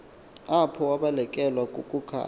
apho wabanekelwa kukukhanya